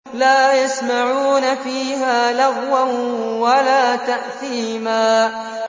لَا يَسْمَعُونَ فِيهَا لَغْوًا وَلَا تَأْثِيمًا